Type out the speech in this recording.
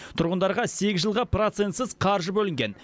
тұрғындарға сегіз жылға процентсіз қаржы бөлінген